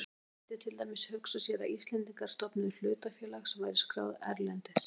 Þó mætti til dæmis hugsa sér að Íslendingar stofnuðu hlutafélag sem væri skráð erlendis.